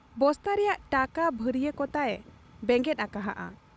ᱵᱚᱥᱛᱟ ᱨᱮᱭᱟᱜ ᱴᱟᱠᱟ ᱵᱷᱟᱹᱨᱤᱭᱟᱹ ᱠᱚᱛᱟᱭᱮ ᱵᱮᱸᱜᱮᱫ ᱟᱠᱟᱦᱟᱫ ᱟ ᱾